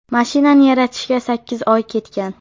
Mashinani yaratishga sakkiz oy ketgan.